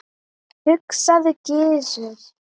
hugsaði Gizur.